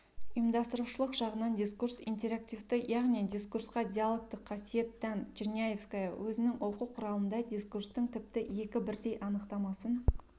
ұйымдастырушылық жағынан дискурс интерактивті яғни дискурсқа диологтық қасиет тән черняевская өзінің оқу құралында дискурстың тіпті екі бірдей анықтамасын